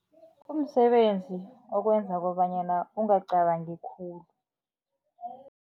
Kumsebenzi okwenza kobanyana ungacabangi khulu.